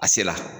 A se la